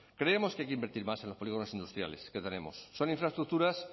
creemos que hay que invertir más en los polígonos industriales que tenemos son infraestructuras